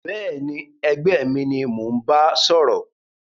Béèni ẹgbẹ́ mi ni mó n ba sòrò